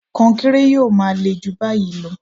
Kọnkéré yóò máa le jù báyìí lọ